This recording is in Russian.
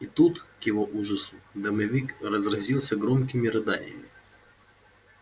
и тут к его ужасу домовик разразился громкими рыданиями